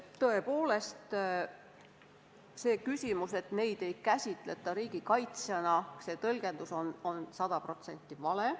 Tõepoolest, see tõlgendus, et neid ei käsitleta riigikaitsjatena, on sada protsenti vale.